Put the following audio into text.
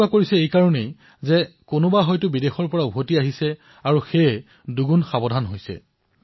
এয়া তেওঁলোকে এইবাবেই কৰিছে কিয়নো তেওঁলোক বিদেশৰ পৰা ঘূৰি আহিছে আৰু দুগুণ সাৱধানতা পালন কৰিছে